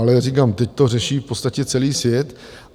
Ale říkám, teď to řeší v podstatě celý svět.